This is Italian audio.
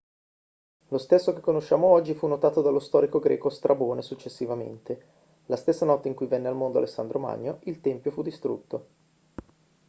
lo stesso che conosciamo oggi fu notato dallo storico greco strabone successivamente. la stessa notte in cui venne al mondo alessandro magno il tempio fu distrutto